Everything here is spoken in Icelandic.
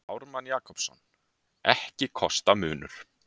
Ármann Jakobsson, Ekki kosta munur.